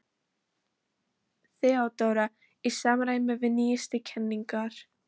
THEODÓRA: Í samræmi við nýjustu kenningar